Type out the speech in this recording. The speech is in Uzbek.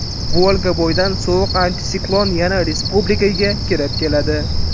Volga bo‘yidan sovuq antisiklon yana respublikaga kirib keladi.